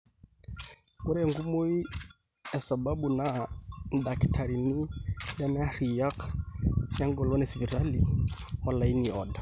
ore enkumoi esababu naa indakitarini lemearriyiak, eng'olon esipitali olaini oodo